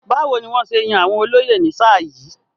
Báwo ni wọ́n ṣe yàn àwọn olóyè ní sáà yìí?